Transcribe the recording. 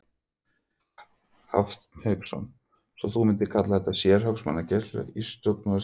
Hafsteinn Hauksson: Svo þú mundir kalla þetta sérhagsmunagæslu í stjórnmálastéttinni?